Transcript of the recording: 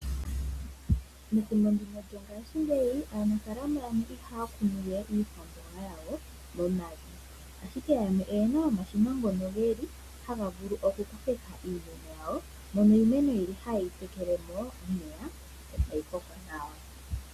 Methimbo ndino lyongashingeyi aanafalama yamwe ihaya kunu we iikwamboga yawo momavi. Ashike yamwe oyena omashina ngono geli haga vulu okukokeka iimeno yawo, mono iimeno yili ohaye yi tekele nomeya e tayi koko nawa.